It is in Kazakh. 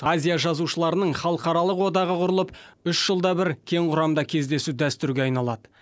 азия жазушыларының халықаралық одағы құрылып үш жылда бір кең құрамда кездесу дәстүрге айналады